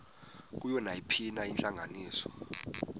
kuyo nayiphina intlanganiso